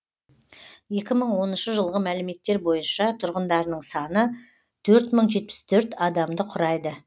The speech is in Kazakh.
екі мың оныншы жылғы мәліметтер бойынша тұрғындарының саны төрт мың жетпіс төрт адамды құрайды